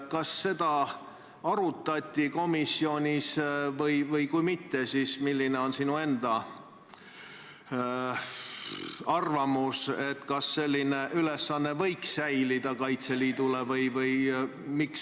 Kas seda arutati komisjonis ja kui mitte, siis milline on sinu enda arvamus, kas selline ülesanne võiks Kaitseliidul säilida?